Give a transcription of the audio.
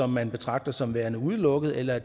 man betragter som værende udelukket eller